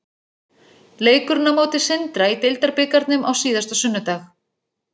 Leikurinn á móti Sindra í deildarbikarnum á síðasta sunnudag.